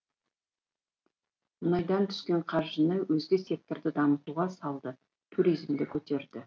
мұнайдан түскен қаржыны өзге секторды дамытуға салды туризмді көтерді